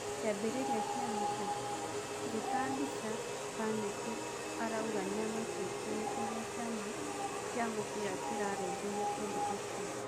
Kĩambĩrĩria kĩa mbica, Ngeta Mbica Mbaneti arauga nĩamakĩtio ni ũrĩa kĩama kĩa mũbira kĩrarũmbũia ũndũ ũcĩo.